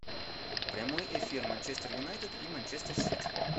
прямой эфир манчестер юнайтед и манчестер сити